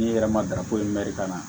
N'i yɛrɛ ma darako mɛri ka na